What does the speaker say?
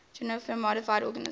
genetically modified organisms